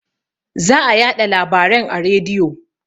Za a yaɗa larabaren a rediyo